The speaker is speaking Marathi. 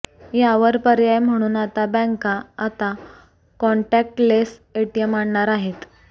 यावर पर्याय म्हणून आता बँका आता कॉन्टॅक्टलेस एटीएम आणणार आहेत